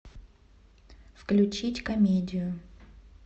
включить комедию